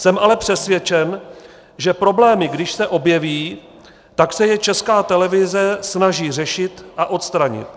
Jsem ale přesvědčen, že problémy, když se objeví, tak se je Česká televize snaží řešit a odstranit.